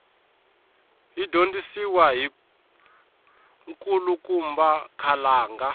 yi dyondzisiwa hi nkulukumba khalanga